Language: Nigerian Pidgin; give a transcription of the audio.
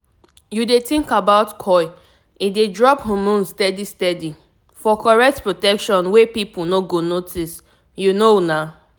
u dey think about coil e dey drop hormones steady steady -for correct protection wey people no go notice. u know na